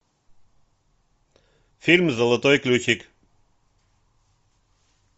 фильм золотой ключик